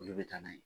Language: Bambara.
Olu bɛ taa n'a ye